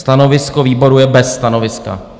Stanovisko výboru je bez stanoviska.